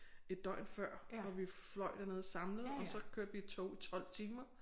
Et døgn før hvor vi fløj derned samlet og så kørte vi i tog i 12 timer